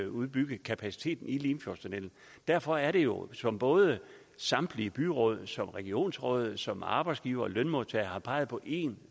udbygge kapaciteten i limfjordstunnellen derfor er det jo som både samtlige byråd som regionsråd og som arbejdsgivere og lønmodtagere har peget på en